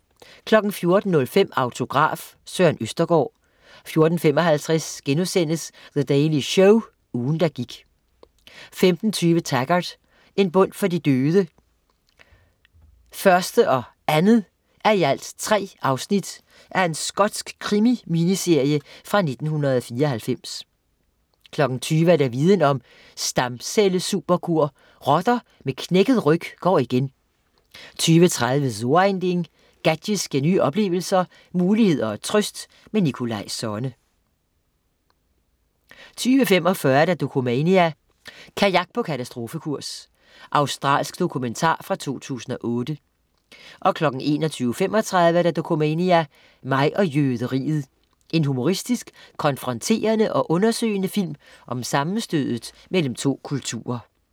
14.05 Autograf: Søren Østergaard 14.55 The Daily Show, ugen, der gik* 15.20 Taggart: En bøn for de døde 1:3 og 2:3 Skotsk krimi-miniserie fra 1994 20.00 Viden om: Stamcellesuperkur. Rotter med knækket ryg går igen 20.30 So ein Ding. Gadgets giver nye oplevelser, muligheder og trøst. Nikolaj Sonne 20.45 Dokumania: Kajak på katastrofekurs. Australsk dokumentar fra 2008 21.35 Dokumania: Mig og jøderiet. En humoristisk, konfronterende og undersøgende film om sammenstødet mellem to kulturer